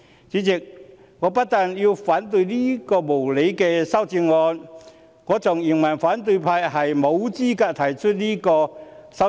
主席，我不但要反對這兩項無理的修正案，更認為反對派沒有資格提出這兩項修正案。